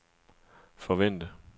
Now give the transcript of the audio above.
forvente